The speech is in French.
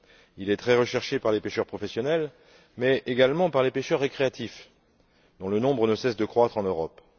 Il est très recherché par les pêcheurs professionnels mais également par les pêcheurs récréatifs, dont le nombre ne cesse de croître en Europe.